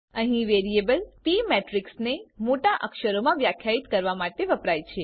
અહીં વેરીએબલ પ મેટ્રીક્સને મોટા અક્ષરોમાં વ્યાખ્યાયિત કરવા માટે વપરાય છે